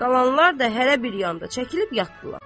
Qalanlar da hərə bir yanda çəkilib yatdılar.